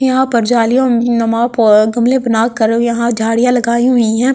यहां पर झालियों गमले पे यहां झाड़ियां लगाई हुईं हैं।